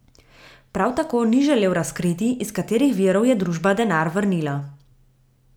Prav tako ni želel razkriti, iz katerih virov je družba denar vrnila.